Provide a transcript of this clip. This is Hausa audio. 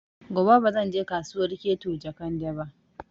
Gobe ba zan je Kasuwar Keto Jekande ba